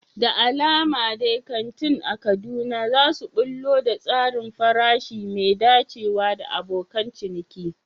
Da alama dai kantin a Kaduna za su ɓullo da tsarin farashi mai dacewa da abokan ciniki.